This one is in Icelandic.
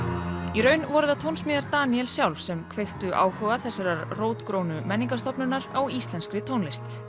í raun voru það tónsmíðar Daníels sjálfs sem kveiktu áhuga þessarar rótgrónu menningarstofnunar á íslenskri tónlist